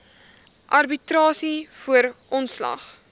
arbitrasie voor ontslag